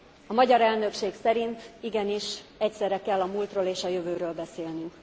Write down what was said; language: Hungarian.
A magyar elnökség szerint igenis egyszerre kell a múltról és a jövőről beszélnünk.